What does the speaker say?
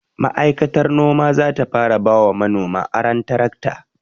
Ma'aikatar noma zata fara bawa manoma aron tirakta